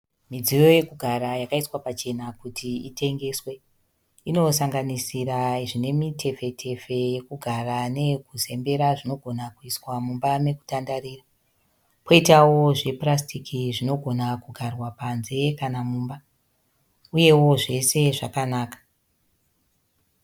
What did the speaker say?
Midziyo yokugara yakaiswa pachena kuti itengeswe. Inosanganiisira zvine mitefe -tefe yekugara neye kuzembera zvinogona kuiswa mumba mokutandarira, koitawo zvepurasiti zvinogona kugarwa panze kana mumba. Uyewo zvose zvakanaka.